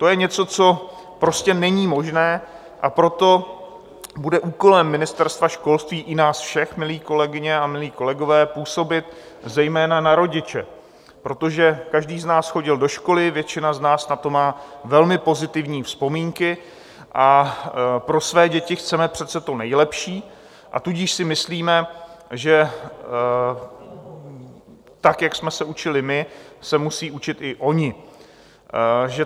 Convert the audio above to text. To je něco, co prostě není možné, a proto bude úkolem Ministerstva školství, i nás všech, milé kolegyně a milí kolegové, působit zejména na rodiče, protože každý z nás chodil do školy, většina z nás na to má velmi pozitivní vzpomínky, a pro své děti chceme přece to nejlepší, a tudíž si myslíme, že tak, jak jsme se učili my, se musí učit i oni.